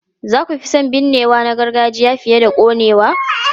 Za ku fi son binnewa na gargajiya fiye da konewa?